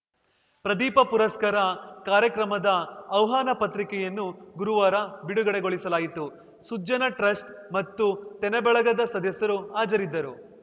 ಪ್ರದೀಪ ಪುರಸ್ಕಾರ ಕಾರ್ಯಕ್ರಮದ ಆಹ್ವಾನ ಪತ್ರಿಕೆಯನ್ನು ಗುರುವಾರ ಬಿಡುಗಡೆಗೊಳಿಸಲಾಯಿತು ಸುಜ್ಜನ ಟ್ರಸ್ಟ್‌ ಮತ್ತು ತೆನೆಬಳಗದ ಸದಸ್ಯರು ಹಾಜರಿದ್ದರು